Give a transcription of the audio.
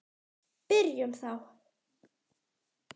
Byrjum þá.